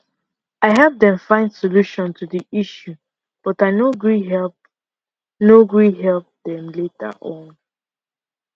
i help dem find solution to the issue but i no gree help no gree help them later on